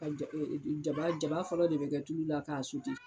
Ka ja jaba jaba fɔlɔ de bɛ kɛ tulu la k'a